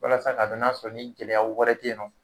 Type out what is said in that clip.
Walasa k'a dɔn n'a sɔrɔ ni gɛlɛya wɛrɛ ten nɔ